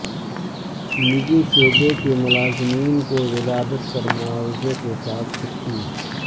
نجی شعبے کے ملازمین کو ولادت پر معاوضے کے ساتھ چھٹی